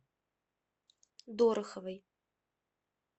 дороховой